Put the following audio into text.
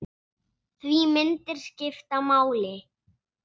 Því myndir skipta máli.